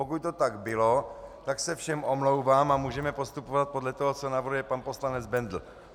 Pokud to tak bylo, tak se všem omlouvám a můžeme postupovat podle toho, co navrhuje pan poslanec Bendl.